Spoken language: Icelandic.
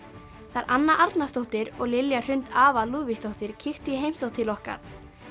þær Anna Arnarsdóttir og Lilja Hrund Lúðvíksdóttir kíktu í heimsókn til okkar